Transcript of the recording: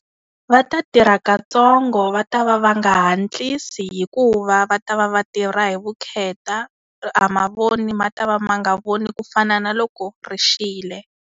Va ta tirha katsongo va ta va va nga hatlisa hikuva va ta va va tirha hi vukheta, mavoni ma ta va ma nga voni ku fana na loko ri xile.